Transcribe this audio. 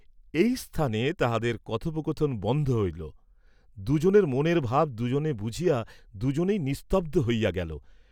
এই স্থানে তাহাদের কথোপকথন বন্ধ হইল, দুজনের মনের ভাব দুজনে বুঝিয়া দুজনেই নিস্তব্ধ হইয়া গেল।